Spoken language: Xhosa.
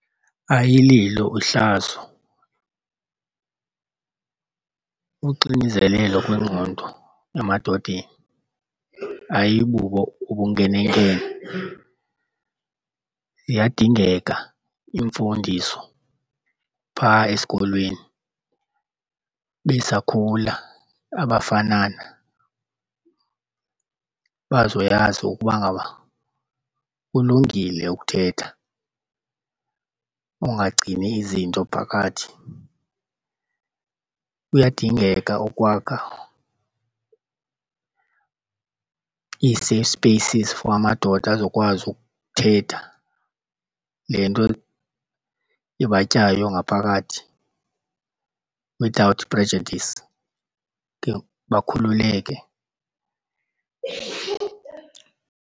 Ayililo uhlazo, uxinizelelo kwengqondo emadodeni ayibubo ubunkenenkene. Ziyadingeka iimfundiso phaa esikolweni besakhula abafanana bazoyazi ukuba ngaba kulungile ukuthetha, ungagcini izinto phakathi. Kuyadingeka okwakha ii-safe spaces for amadoda azokwazi ukuthetha le nto ibatyayo ngaphakathi without prejudice, khe bakhululeke.